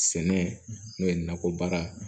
Sɛnɛ n'o ye nakɔ baara